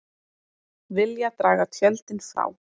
Vilja draga tjöldin frá